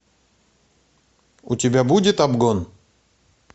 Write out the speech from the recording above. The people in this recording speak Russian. у тебя будет обгон